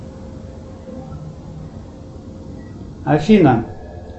афина